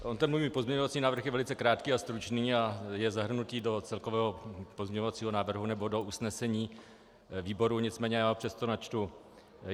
On ten můj pozměňovací návrh je velice krátký a stručný a je zahrnut do celkového pozměňovacího návrhu nebo do usnesení výboru, nicméně já ho přesto načtu.